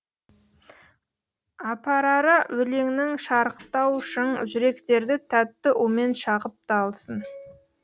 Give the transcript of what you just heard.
апарары өлеңнің шарықтау шың жүректерді тәтті умен шағып та алсын